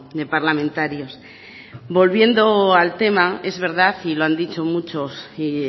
de parlamentarios volviendo al tema es verdad y lo han dicho muchos y